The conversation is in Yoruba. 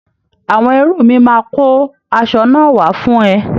Àwọn ẹrú mi máa kó asọ náà wá fún ẹ.